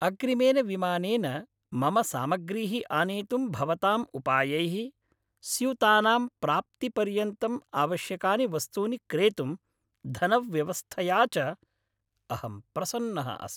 अग्रिमेन विमानेन मम सामाग्रीः आनेतुं भवताम् उपायैः, स्यूतानां प्राप्तिपर्यन्तम् आवश्यकानि वस्तूनि क्रेतुं धनव्यवस्थया च, अहं प्रसन्नः अस्मि।